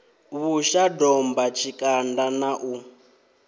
vhusha domba tshikanda na u